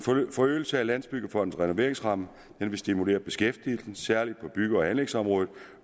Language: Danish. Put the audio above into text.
forøgelse af landsbyggefondens renoveringsramme vil stimulere beskæftigelsen særlig på bygge og anlægsområdet